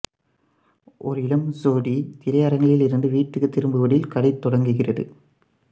ஓர் இளம் சோடி திரையரங்கிலிருந்து வீட்டுக்கு திரும்புவதில் கதை தொடங்குகிறது